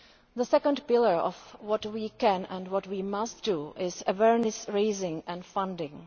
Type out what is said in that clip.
The second pillar of what we can and what we must do is awareness raising and funding.